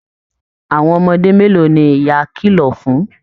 Àwọn ọmọdé mélòó ní ìyá kìlọ̀ fún?